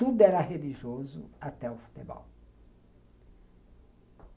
Tudo era religioso até o futebol.